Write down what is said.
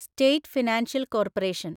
state financial corporation